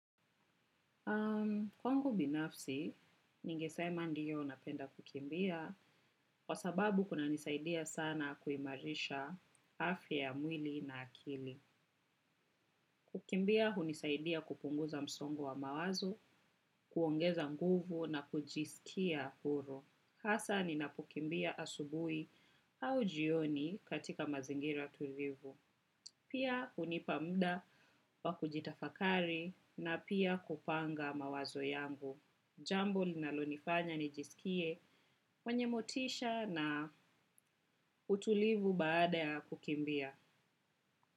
Kwangu binafsi, ningesema ndiyo napenda kukimbia kwa sababu kunanisaidia sana kuimarisha afya ya mwili na akili. Kukimbia hunisaidia kupunguza msongo wa mawazo, kuongeza nguvu na kujisikia huru. Hasaa ninapokimbia asubuhi au jioni katika mazingira tulivu. Pia hunipa muda wa kujitafakari na pia kupanga mawazo yangu. Jambo linalonifanya nijisikie mwenye motisha na utulivu baada ya kukimbia.